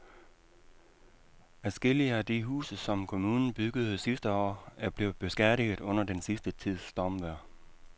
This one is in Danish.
Adskillige af de huse, som kommunen byggede sidste år, er blevet beskadiget under den sidste tids stormvejr.